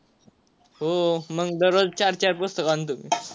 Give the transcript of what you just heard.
हो मग दरोज चार चार पुस्तक आणतो मी.